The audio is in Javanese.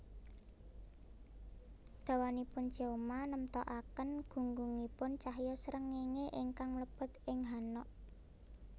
Dawanipun cheoma nemtokaken gunggungipun cahya srengéngé ingkang mlebet ing hanok